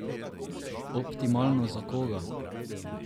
Optimalno za koga?